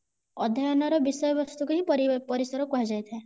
ଅଧ୍ୟୟନ ର ବିଷୟବସ୍ତୁ କୁ ହିଁ ପରି ପରିସର କୁହାଯାଇଥାଏ